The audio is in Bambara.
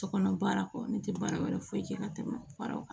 Sokɔnɔ baara kɔ ne tɛ baara wɛrɛ foyi kɛ ka tɛmɛ faraw kan